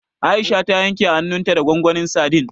Aisha ta yanke hannunta da gwangwanin sadin.